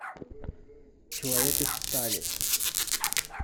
человек из стали